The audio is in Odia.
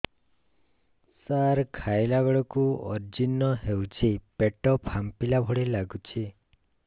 ସାର ଖାଇଲା ବେଳକୁ ଅଜିର୍ଣ ହେଉଛି ପେଟ ଫାମ୍ପିଲା ଭଳି ଲଗୁଛି